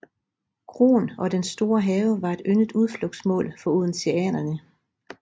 Kroen og dens store have var et yndet udflugtsmål for odenseanerne